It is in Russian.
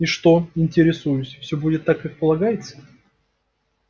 и что интересуюсь всё будет так как полагается